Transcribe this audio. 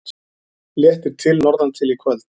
Léttir til norðantil í kvöld